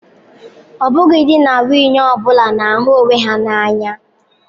Ọ bụghị di na nwunye ọ bụla na-ahụ onwe ha n'anya.